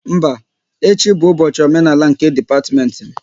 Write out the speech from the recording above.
Mba, echi bụ ụbọchị omenala nke dipatiment m